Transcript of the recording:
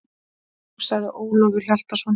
Jú, sagði Ólafur Hjaltason.